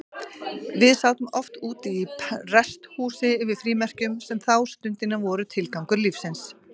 Við sátum oft úti í prestshúsi yfir frímerkjum, sem þá stundina voru tilgangur lífsins.